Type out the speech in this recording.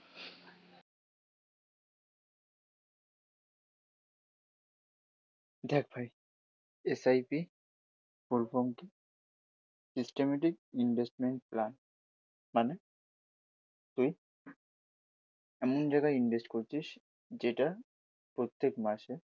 দেখ ভাই S I P full form কি? সিস্টেম্যাটিক ইনভেস্টমেন্ট প্ল্যান, মানে তুই এমন জায়গায় ইনভেস্ট করছিস যেটা প্রত্যেক মাসে